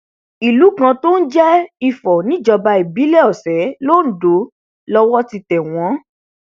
ìlú kan tó ń jẹ ifò níjọba ìbílẹ ọsẹ londo lowó ti tẹ wọn